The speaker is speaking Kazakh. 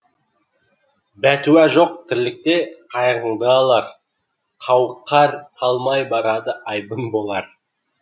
бәтуа жоқ тірлікте қайғыңды алар қауқар қалмай барады айбын болар